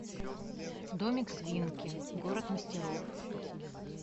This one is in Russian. домик свинки город мастеров